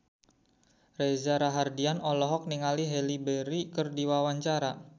Reza Rahardian olohok ningali Halle Berry keur diwawancara